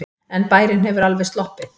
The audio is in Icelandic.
En bærinn hefur alveg sloppið.